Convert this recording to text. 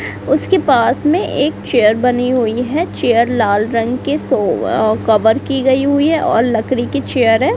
उसके पास में एक चेयर बनी हुई है चेयर लाल रंग के सो अअ कवर की गई हुई है और लकरी की चेयर है।